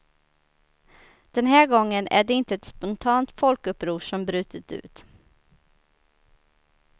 Den här gången är det inte ett spontant folkuppror som brutit ut.